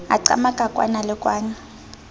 a qamaka kwana le kwana